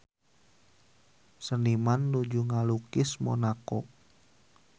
Seniman nuju ngalukis Monaco